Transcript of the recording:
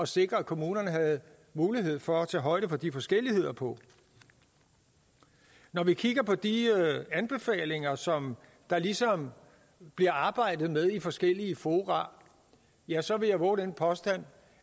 sikre at kommunerne havde mulighed for at tage højde for de forskelligheder på når vi kigger på de anbefalinger som der ligesom bliver arbejdet med i forskellige fora ja så vil jeg vove den påstand